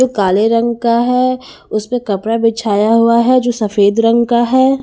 काले रंग का है उसपे कपड़ा बिछाया हुआ है जो सफेद रंग का है।